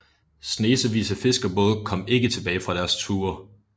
Snesevis af fiskerbåde kom ikke tilbage fra deres ture